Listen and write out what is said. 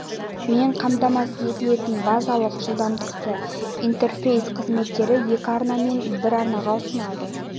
мен қамтамасыз етілетін базалық жылдамдықты интерфейс қызметтері екі арна мен бір арнасын ұсынады